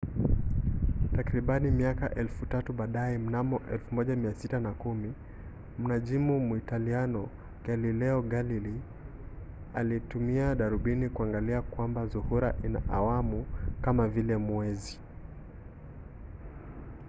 takribani miaka elfu tatu baadaye mnamo 1610 mnajimu muitaliano galileo galilei alitumia darubini kuangalia kwamba zuhura ina awamu kama vile mwezi